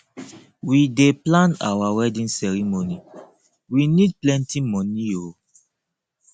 we dey plan our wedding ceremony we need plenty moni o